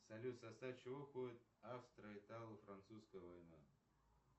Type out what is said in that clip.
салют в состав чего входит австро итало французская война